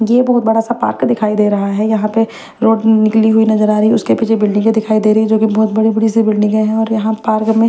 ये बोहोत बड़ा सा पार्क दिखाई दे रहा है यहाँ पे रोड निकली हुई नजर आ रही है उसके पीछे बिल्डिंगे दिखाई दे रही है जोकि बहुत बड़ी बड़ी सी बिल्डिंग है और यहाँ पार्क में --